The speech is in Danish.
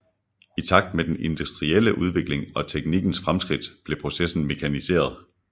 I takt med den industrielle udvikling og teknikkens fremskridt blev processen mekaniseret